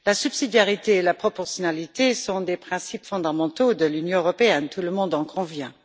La subsidiarité et la proportionnalité sont des principes fondamentaux de l'Union européenne tout le monde en convient.